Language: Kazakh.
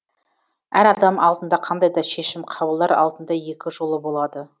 әр адам алдында қандай да шешім қабылдар алдында екі жолы болады